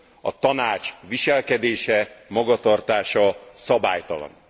a Tanács viselkedése, magatartása szabálytalan.